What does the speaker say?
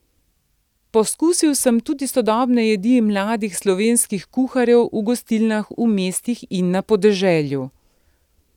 Pokusil sem tudi sodobne jedi mladih slovenskih kuharjev v gostilnah v mestih in na podeželju.